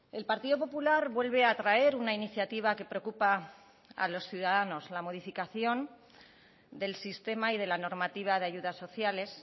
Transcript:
el partido popular vuelve a traer una iniciativa que preocupa a los ciudadanos la modificación del sistema y de la normativa de ayudas sociales